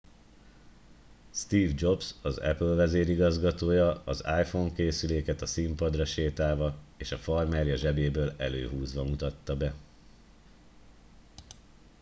steve jobs az apple vezérigazgatója az iphone készüléket a színpadra sétálva és a farmerja zsebéből előhúzva mutatta be